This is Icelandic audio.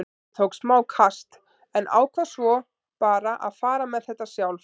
Ég tók smá kast en ákvað svo bara að fara með þetta sjálf.